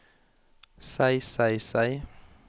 seg seg seg